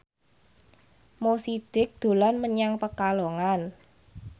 Mo Sidik dolan menyang Pekalongan